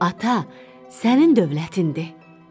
Ata, sənin dövlətindir.